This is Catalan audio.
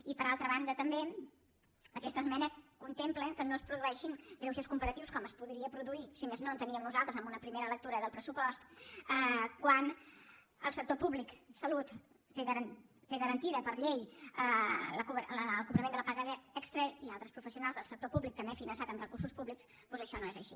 i per altra banda també aquesta esmena contempla que no es produeixin greuges comparatius com es podria produir si més no ho enteníem nosaltres en una primera lectura del pressupost quan el sector públic salut té garantit per llei el cobrament de la paga extra i altres professionals del sector públic també finançat amb recursos públics doncs això no és així